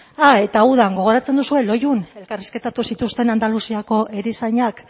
ah eta udan goratzen duzue loiun elkarrizketatu zituzten andaluziako erizainak